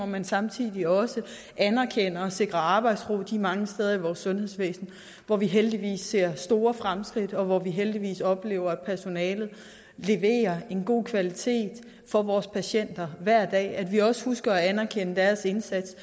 men samtidig også anerkender og sikrer arbejdsro de mange steder i vores sundhedsvæsen hvor vi heldigvis ser store fremskridt og hvor vi heldigvis oplever at personalet leverer en god kvalitet for vores patienter hver dag at vi også husker at anerkende deres indsats